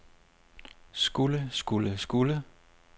skulle skulle skulle